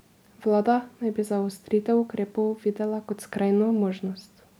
Vlada naj bi zaostritev ukrepov videla kot skrajno možnost.